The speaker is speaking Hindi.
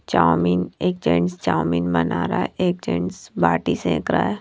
चाऊमीन एक जेंट्स चाऊमीन बना रहा है एक जेंट्स बाटी सेक रहा है।